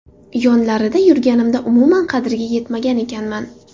Yonlarida yurganimda umuman qadriga yetmagan ekanman.